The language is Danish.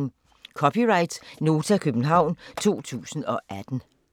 (c) Nota, København 2018